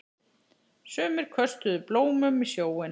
Sumir köstuðu blómum í sjóinn.